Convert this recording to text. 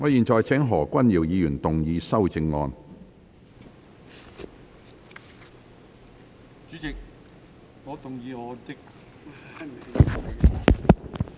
我現在請何君堯議員動議修正案。